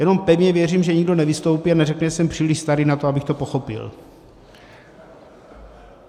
Jenom pevně věřím, že nikdo nevystoupí a neřekne, že jsem příliš starý na to, abych to pochopil.